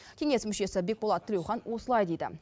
кеңес мүшесі бекболат тілеухан осылай дейді